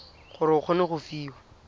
gore o kgone go fiwa